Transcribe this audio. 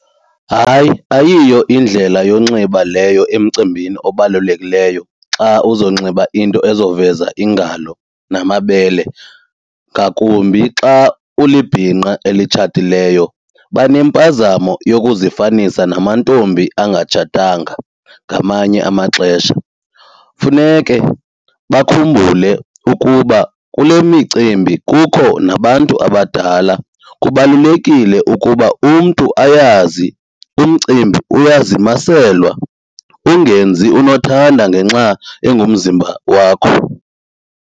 Hayi, ayiyo indlela yonxiba leyo emcimbini obalulekileyo xa uzonxiba into ezoveza iingalo namabele ngakumbi xa ulibhinqa elitshatileyo. Banempazamo yokuzifanisa namantombi angatshatanga ngamanye amaxesha. Funeke bakhumbule ukuba kule micimbi kukho nabantu abadala, kubalulekile ukuba umntu ayazi umcimbi uyazimaselwa ungenzi unothanda ngenxa engumzimba wakho.